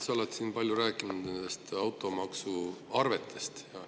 Sa oled siin palju rääkinud automaksuarvetest.